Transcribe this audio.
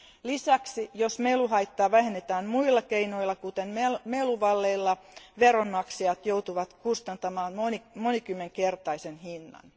Lisäksi jos meluhaittaa vähennetään muilla keinoilla, kuten meluvalleilla, veronmaksajat joutuvat kustantamaan monikymmenkertaisen hinnan.